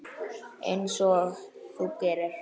Einsog þú gerir?